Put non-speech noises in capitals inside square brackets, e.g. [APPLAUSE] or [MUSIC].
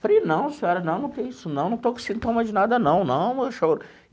Falei, não senhora, não não tem isso não, não estou com sintomas de nada não não. [UNINTELLIGIBLE]